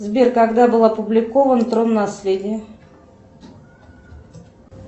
сбер когда был опубликован трон наследия